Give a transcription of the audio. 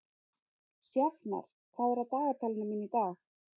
Sjafnar, hvað er á dagatalinu mínu í dag?